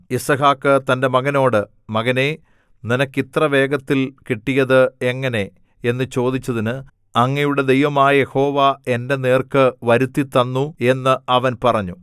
യിസ്ഹാക്ക് തന്റെ മകനോട് മകനേ നിനക്ക് ഇത്രവേഗത്തിൽ കിട്ടിയത് എങ്ങനെ എന്ന് ചോദിച്ചതിന് അങ്ങയുടെ ദൈവമായ യഹോവ എന്റെ നേർക്കു വരുത്തിത്തന്നു എന്ന് അവൻ പറഞ്ഞു